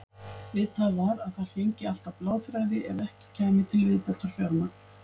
Vitað var að þar héngi allt á bláþræði ef ekki kæmi til viðbótarfjármagn.